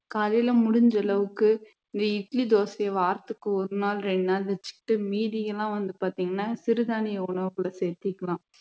காலையில முடிஞ்ச அளவுக்கு இந்த இட்லி தோசையை வாரத்துக்கு ஒரு நாள் ரெண்டு நாள் வச்சுக்கிட்டு மீதியெல்லாம் வந்து பாத்தீங்கன்னா சிறுதானிய உணவுகளை சேர்த்துக்கலாம்